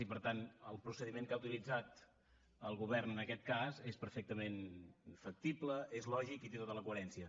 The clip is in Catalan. i per tant el procediment que ha utilitzat el govern en aquest cas és perfectament factible és lògic i té tota la coherència